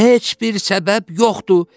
Heç bir səbəb yoxdur.